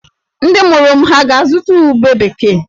Ndị mụrụ m hà ga-azụta ube bekee?